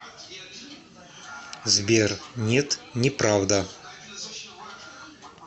сбер нет неправда